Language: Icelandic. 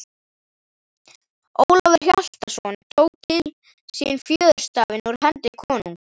Ólafur Hjaltason tók til sín fjöðurstafinn úr hendi konungs.